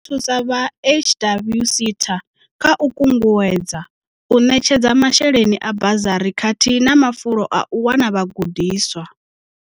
I ḓo thusa vha HWSETA kha u kunguwedza, u ṋetshedza masheleni a bazari khathihi na mafulo a u wana vhagudiswa.